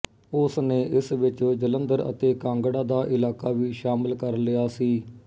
ਉਸ ਨੇ ਇਸ ਵਿੱਚ ਜਲੰਧਰ ਅਤੇ ਕਾਂਗੜਾ ਦਾ ਇਲਾਕਾ ਵੀ ਸ਼ਾਮਲ ਕਰ ਲਿਆ ਸੀ